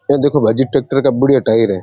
ये देखो भाई जे टेक्टर का बढ़िया टायर है।